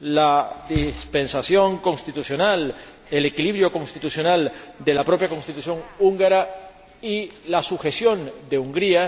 la dispensación constitucional, el equilibro constitucional de la propia Constitución húngara y la sujeción de Hungría